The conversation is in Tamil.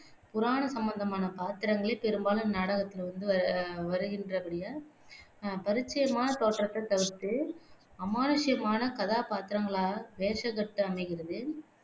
புராண சம்பந்தமான பாத்திரங்களே பெரும்பாலும் இந்நாடகத்துல வந்து வ வருகின்றபடியால் ஆஹ் பரிச்சயமான தோற்றத்தைத் தவிர்த்து அமானுஷ்யமான கதாபாத்திரங்களாக வேஷக்கட்டு அமைகிறது.